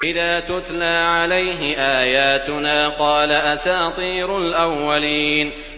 إِذَا تُتْلَىٰ عَلَيْهِ آيَاتُنَا قَالَ أَسَاطِيرُ الْأَوَّلِينَ